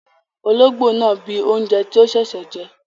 Olóngbó náà bíi oúnjẹ tí ó sẹsẹ jẹ